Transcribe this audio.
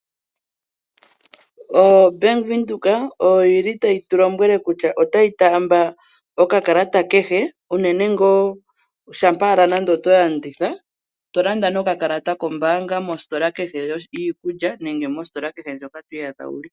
OBank Windhoek oyo yili tayi tulombwele kutya otayi taamba okakalata kehe unene ngaa shampa owala nenge otolanditha, tolanda nokakalata kombaanga mositola kehe yiikulya, nenge mositola kehe ndjoka twiiyadha wuli.